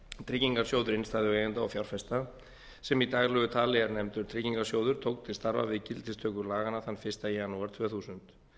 tryggingarsjóður innstæðueigenda og fjárfesta sem í daglegu tali er nefndur tryggingarsjóður tók til starfa við gildistöku laganna þann fyrsta janúar tvö þúsund